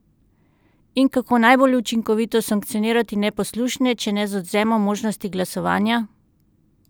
In kako najbolj učinkovito sankcionirati neposlušne, če ne z odvzemom možnosti glasovanja?